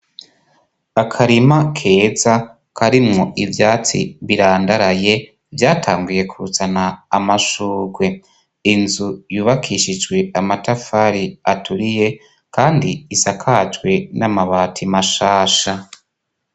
Akarima keza karimwo ivyatsi birandaraye vyatanguye kuzana amashurwe inzu yubakishijwe amatafari aturiye, kandi isakajwe n'amabati mashasha.